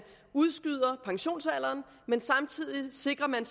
udskyder pensionsalderen men samtidig sikrer man